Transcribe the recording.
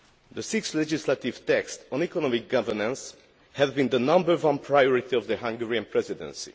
The six legislative texts on economic governance have been the number one priority of the Hungarian Presidency.